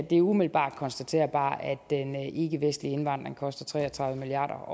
det er umiddelbart konstaterbart at den ikkevestlige indvandring koster tre og tredive milliard